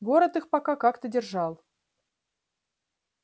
город их пока как-то держал